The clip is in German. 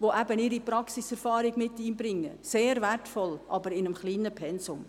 Sie bringen ihre Praxiserfahrung mit ein, sehr wertvoll, aber in einem kleinen Pensum.